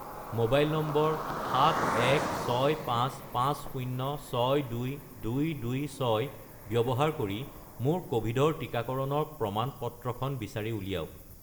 Mobile নম্বৰ 71655062226 ব্যৱহাৰ কৰি মোৰ ক'ভিডৰ টিকাকৰণৰ প্ৰমাণ-পত্ৰখন বিচাৰি উলিয়াওক।